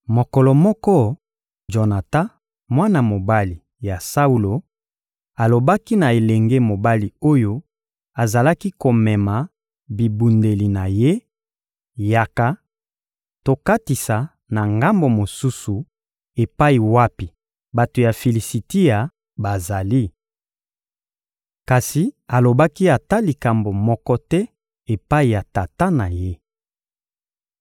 Mokolo moko, Jonatan, mwana mobali ya Saulo, alobaki na elenge mobali oyo azalaki komema bibundeli na ye: «Yaka! Tokatisa na ngambo mosusu epai wapi bato ya Filisitia bazali.» Kasi alobaki ata likambo moko te epai ya tata na ye.